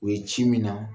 U ye ci min na